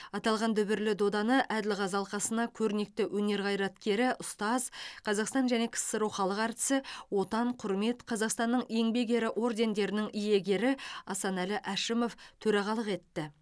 аталған дүбірлі доданы әділқазы алқасына көрнекті өнер қайраткері ұстаз қазақстан және ксро халық әртісі отан құрмет қазақстанның еңбек ері ордендерінің иегері асанәлі әшімов төрағалық етті